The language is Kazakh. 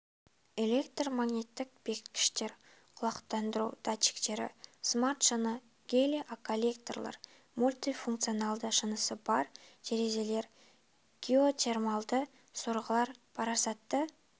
электр магниттік бекіткіштер құлақтандыру датчиктері смарт шыны гелиоколлекторлар мультифунционалды шынысы бар терезелер геотермалды сорғылар парасатты